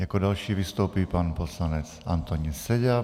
Jako další vystoupí pan poslanec Antonín Seďa.